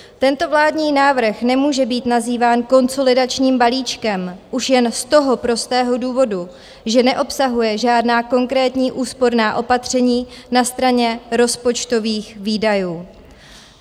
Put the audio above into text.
Tento vládní návrh nemůže být nazýván konsolidačním balíčkem už jen z toho prostého důvodu, že neobsahuje žádná konkrétní úsporná opatření na straně rozpočtových výdajů.